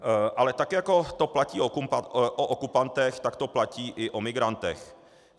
Ale tak jako to platí o okupantech, tak to platí i o migrantech.